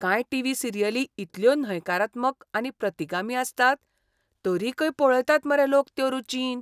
कांय टीव्ही सिरियली इतल्यो न्हयकारात्मक आनी प्रतिगामी आसतात, तरीकय पळयतात मरे लोक त्यो रुचीन.